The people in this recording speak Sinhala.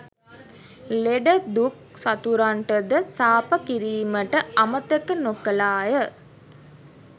ලෙඩ දුක් සතුරන්ටද සාප කිරීමට අමතක නොකළාය